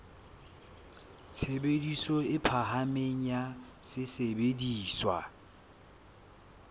tshebediso e phahameng ya sesebediswa